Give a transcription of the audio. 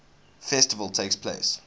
festival takes place